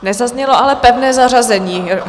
Nezaznělo ale pevné zařazení.